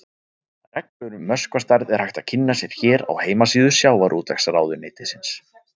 Reglur um möskvastærð er hægt að kynna sér hér á heimasíðu Sjávarútvegsráðuneytisins.